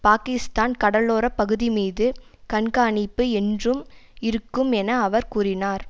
பாக்கிஸ்தான் கடலோர பகுதி மீது கண்காணிப்பு என்றும் இருக்கும் என அவர் கூறினார்